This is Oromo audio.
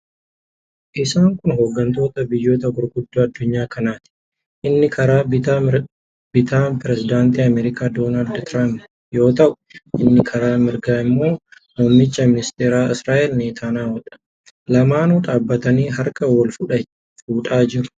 Isaan kun hooggantoota biyyoota gurguddoo addunyaa kanaati. Inni karaa bitaa pirezidaantii Ameerikaa Doonaald Tiruump yoo ta'u, inni karaa mirgaa immoo muummicha ministeeraa Isiraa'el Naatanyaahuudha. Lamaanuu dhaabbatanii harka wal fuudhaa jiru.